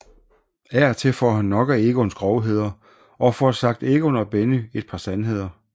Af og til får han nok af Egons grovheder og får sagt Egon og Benny et par sandheder